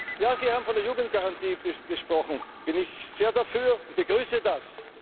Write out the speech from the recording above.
Ja, Sie haben von der Jugendgarantie gesprochen. Da bin ich sehr dafür und begrüße